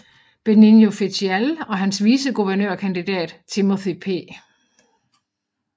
Benigno Fitial og hans viceguvernørkandidat Timothy P